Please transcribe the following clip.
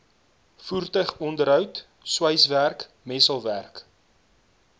voertuigonderhoud sweiswerk messelwerk